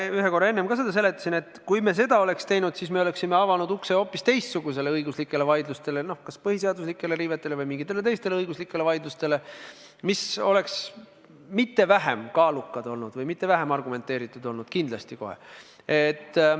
Ma ühe korra enne ka seda seletasin, et kui me seda oleks teinud, siis me oleks avanud ukse hoopis teistsugustele õiguslikele vaidlustele, kas põhiseaduse riivete teemal või mingitele teistele õiguslikele vaidlustele, mis oleks mitte vähem kaalukad olnud või mitte vähem argumenteeritud olnud – kindlasti kohe.